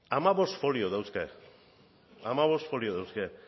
hamabost folio dauzka hamabost folio dauzka